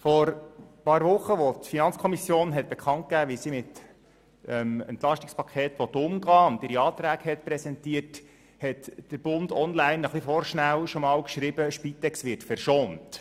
Vor ein paar Wochen, als die FiKo bekannt gab, wie sie mit dem EP umgehen will und ihre Anträge präsentierte, schrieb «Der Bund online» etwas vorschnell «Spitex wird verschont».